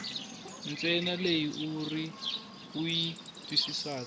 ntsena leyi u yi twisisaka